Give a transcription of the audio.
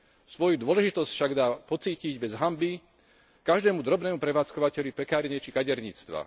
Svoju dôležitosť však dá pocítiť bez hanby každému drobnému prevádzkovateľovi pekárne či kaderníctva.